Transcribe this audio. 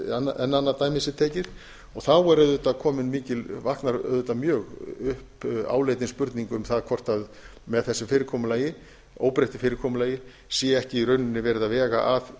svo enn annað dæmi sé tekið þá vaknar auðvitað upp mjög áleitin spurning um það hvort með þessu fyrirkomulagi óbreyttu fyrirkomulagi sé ekki í rauninni verið að vega að